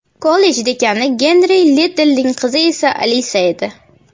Kollej dekani Genri Liddellning qizi esa Alisa edi.